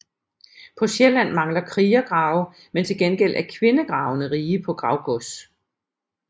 På Sjælland mangler krigergrave men til gengæld er kvindegravene rige på gravgods